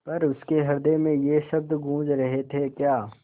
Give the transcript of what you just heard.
पर उसके हृदय में ये शब्द गूँज रहे थेक्या